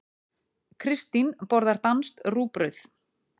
Kristín borðar danskt rúgbrauð.